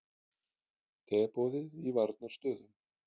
Teboðið í varnarstöðu